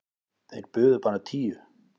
Þeir buðu bara tíu.